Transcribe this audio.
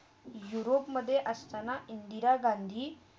यूरोपमधे असताना इंदिरा गांधी.